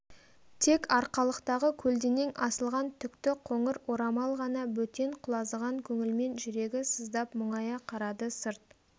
тек арқалықтағы көлденең асылған түкті қоңыр орамал ғана бөтен құлазыған көңілмен жүрегі сыздап мұңая қарады сырт